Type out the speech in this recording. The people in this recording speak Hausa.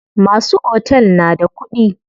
Masu otel na da kuɗi.